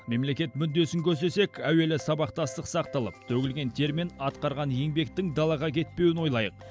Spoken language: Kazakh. мемлекет мүддесін көздесек әуелі сабақтастық сақталып төгілген тер мен атқарған еңбектің далаға кетпеуін ойлайық